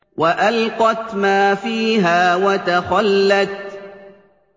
وَأَلْقَتْ مَا فِيهَا وَتَخَلَّتْ